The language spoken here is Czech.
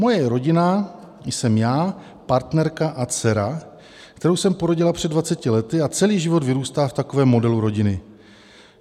Moje rodina jsem já, partnerka a dcera, kterou jsem porodila před 20 lety, a celý život vyrůstá v takovém modelu rodiny.